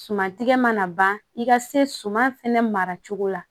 Suman tigɛ mana ban i ka se suman fɛnɛ mara cogo la